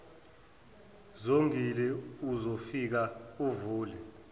zongile uzofika uvule